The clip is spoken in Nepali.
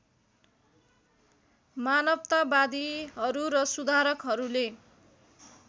मानवतावादीहरू र सुधारकहरूले